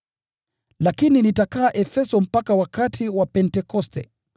Lakini nitakaa Efeso mpaka wakati wa Pentekoste,